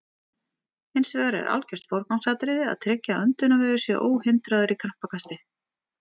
Hins vegar er algjört forgangsatriði að tryggja að öndunarvegur sé óhindraður í krampakasti.